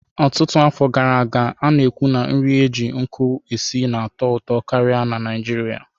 Ọtụtụ afọ gara aga, a na-ekwu na nri e ji nkụ esi na-atọ ụtọ karịa na Naịjirịa.